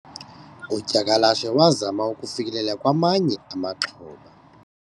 udyakalashe wazama ukufikelela kwamanye amaxhoba